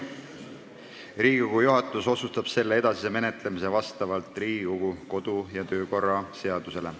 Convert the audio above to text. Riigikogu juhatus otsustab selle edasise menetlemise vastavalt Riigikogu kodu- ja töökorra seadusele.